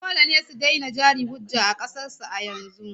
Dole ne su daina jari-hujja a ƙasar su a yanzu!